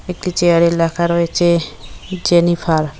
একটি চেয়ারে লেখা রয়েছে জেনিফার।